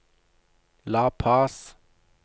La Paz